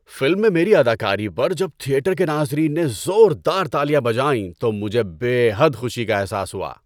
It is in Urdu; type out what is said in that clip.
فلم میں میری اداکاری پر جب تھیٹر کے ناظرین نے زور دار تالیاں بجائیں تو مجھے بے حد خوشی کا احساس ہوا۔